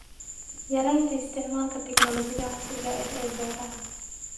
Yaraynta isticmaalka tignoolajiyada casriga ah ee beeraha.